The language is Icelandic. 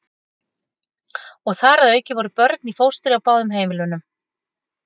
Og þar að auki voru börn í fóstri á báðum heimilunum.